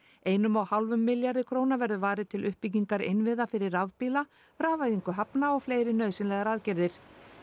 einum og hálfum milljarði króna verður varið til uppbyggingar innviða fyrir rafbíla rafvæðingu hafna og fleiri nauðsynlegar aðgerðir